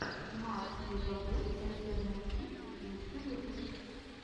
марк легобой альтернатив лучший выпуск